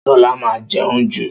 Ṣọlá máa ń jẹun jù